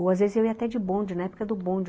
Ou às vezes eu ia até de bonde, na época do bonde.